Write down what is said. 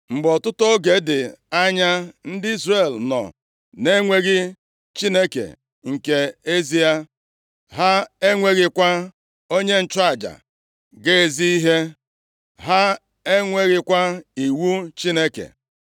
Ma ọtụtụ oge dị anya ndị Izrel nọ na-enweghị Chineke nke ezie, ha enweghịkwa onye nchụaja ga-ezi ihe, ha enweghịkwa iwu Chineke